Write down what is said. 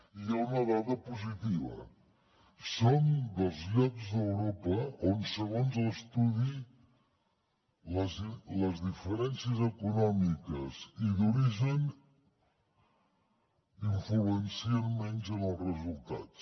i hi ha una dada positiva som dels llocs d’europa on segons l’estudi les diferències econòmiques i d’origen influeixen menys en els resultats